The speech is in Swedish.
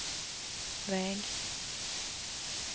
väg